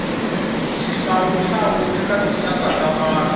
xihlawunhlu eka tinxaka ta vanu